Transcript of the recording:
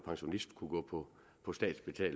pensionist gå på statsbetalt